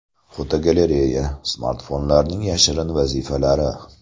Fotogalereya: Smartfonlarning yashirin vazifalari.